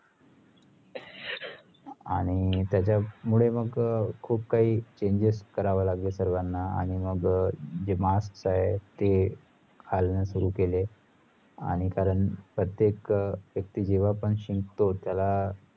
आणी त्याचंमुळेमग अह खुप काही काही changes करावं लागल सर्वांना आणी मग अह जे mask आहे ते घालणं सुरू केले आणी कारणप्रत्येक व्यक्ती अह जेव्हा शिंकतो त्याला